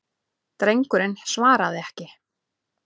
Drengurinn svaraði ekki.